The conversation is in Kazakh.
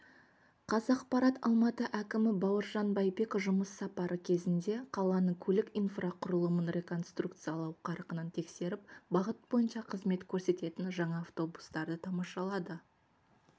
қазақпарат алматы әкімі бауыржан байбек жұмыс сапары кезінде қаланың көлік инфрақұрылымын реконструкциялау қарқынын тексеріп бағыт бойынша қызмет көрсететін жаңа автобустарды тамашалады